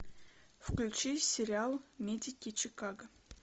включи сериал медики чикаго